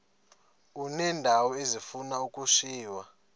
uneendawo ezifuna ukushiywa